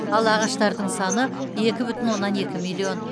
ал ағаштардың санын екі бүтін оннан екі миллион